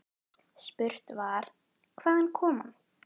Spurt var: Hvaðan kom hann.